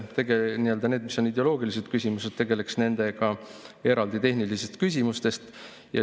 Nendega, mis on ideoloogilised küsimused, võiks tegelda eraldi tehnilistest küsimustest.